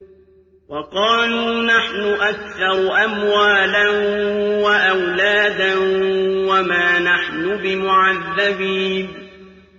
وَقَالُوا نَحْنُ أَكْثَرُ أَمْوَالًا وَأَوْلَادًا وَمَا نَحْنُ بِمُعَذَّبِينَ